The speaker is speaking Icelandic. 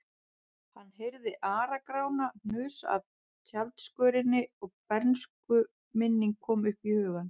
Hann heyrði Ara-Grána hnusa af tjaldskörinni og bernskuminning kom upp í hugann.